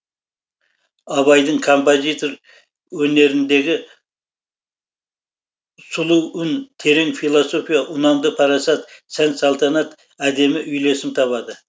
абайдың композитор өнеріндегі сұлу үн терең философия ұнамды парасат сән салтанат әдемі үйлесім табады